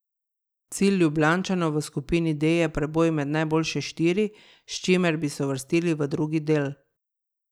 Cilj Ljubljančanov v skupini D je preboj med najboljše štiri, s čimer bi se uvrstili v drugi del.